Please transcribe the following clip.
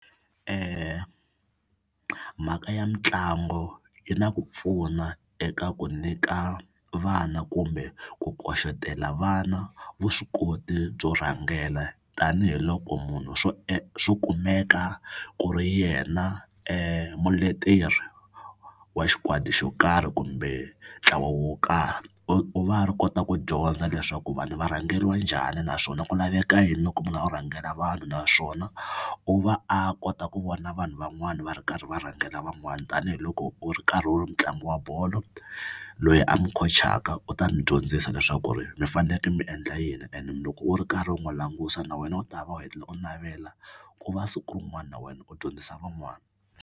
Mhaka ya mitlangu yi na ku pfuna eka ku nyika vana kumbe ku vana vuswikoti byo rhangela tanihiloko munhu swo swo kumeka ku ri yena muleteri wa xikwadi xo karhi kumbe ntlawa wo karhi. U u va a ri kota ku dyondza leswaku vanhu va rhangeriwa njhani naswona ku laveka yini loko u kha u rhangela vanhu naswona u va a kota ku vona vanhu van'wana va ri karhi va rhangela van'wana tanihiloko u ri karhi u ri mutlangi wa bolo loyi a mi khocaka u ta mi dyondzisa leswaku ri mi fanekele mi endla yini and loko u ri karhi u n'wi languta na wena u ta va u hetelela u navela ku va siku rin'wana na wena u dyondzisa van'wana.